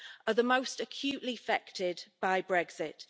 UK, are the most acutely affected by Brexit.